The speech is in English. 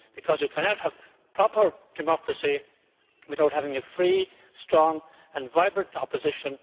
You cannot have proper democracy without having a free, strong and vibrant opposition.